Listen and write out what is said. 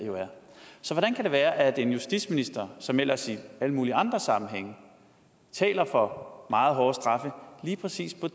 så hvordan kan det være at en justitsminister som ellers i alle mulige andre sammenhænge taler for meget hårde straffe lige præcis på